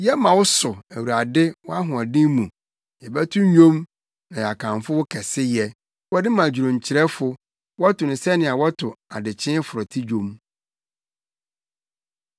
Yɛma wo so, Awurade, wɔ wʼahoɔden mu; yɛbɛto nnwom na yɛakamfo wo kɛseyɛ. Wɔde ma dwonkyerɛfo. Wɔto no sɛnea wɔto “Adekyee forote” dwom.